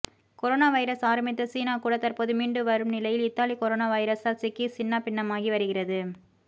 corona virus ஆரம்பித்த சீனா கூட தற்போது மீண்டு வரும் நிலையில் இத்தாலி கொரோனா வைரஸால் சிக்கி சின்னாபின்னமாகி வருகிறது